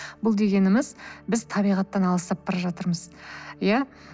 бұл дегеніміз біз табиғаттан алыстап бара жатырмыз ия